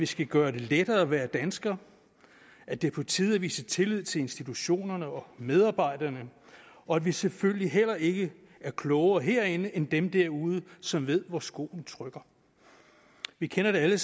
skal gøre det lettere at være dansker at det er på tide at vise tillid til institutionerne og medarbejderne og at vi selvfølgelig heller ikke er klogere herinde end dem derude som ved hvor skoen trykker vi kender alle